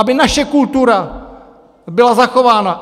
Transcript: Aby naše kultura byla zachována.